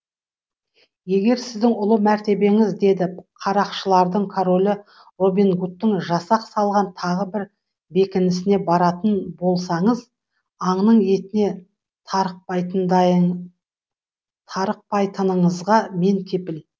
егер сіздің ұлы мәртебеңіз деді қарақшылардың королі робин гудтың жасақ салған тағы бір бекінісіне баратын болсаңыз аңның етіне тарықпайтыныңызға мен кепіл